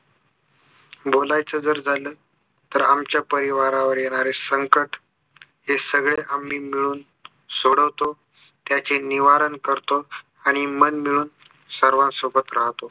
बोलायचं जर झालं तर आमच्या परिवारावर येणारे संकट हे सगळे आम्ही मिळून सोडवतो त्याची निवारण करतो आणि मन मिळून सर्वांसोबत राहतो